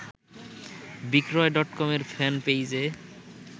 বিক্রয় ডটকমের ফ্যানপেইজে